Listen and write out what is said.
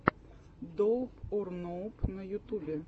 доуп ор ноуп на ютубе